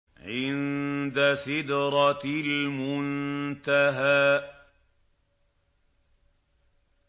عِندَ سِدْرَةِ الْمُنتَهَىٰ